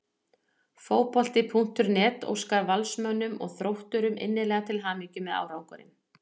Fótbolti.net óskar Valsmönnum og Þrótturum innilega til hamingju með árangurinn.